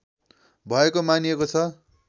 भएको मानिएको छ